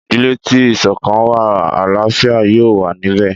Ìdílé tí ìsọ̀kan wà àláfíà yóò wà níbẹ̀.